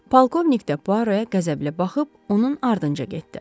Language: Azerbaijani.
Polkovnik də Puaroya qəzəblə baxıb onun ardınca getdi.